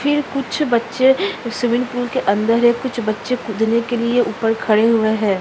फिर कुछ बच्चे स्विमिंग पूल के अंदर है और कुछ बच्चे कूदने के लिए ऊपर खड़े हैं।